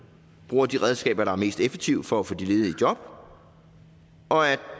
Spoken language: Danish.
bruger de redskaber der er mest effektive for at få de ledige i job og at